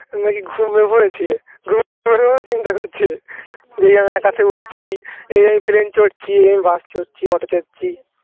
তুমি নাকি ঘুমিয়ে পড়েছিল, ঘুমের ঘরে চিন্তা করছিলে যেই আমি আকাশে উড়ছি এই আমি plain চড়ছি আমি bus চড়ছি auto চড়ছি